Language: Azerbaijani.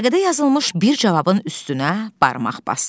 Vərəqədə yazılmış bir cavabın üstünə barmaq basdı.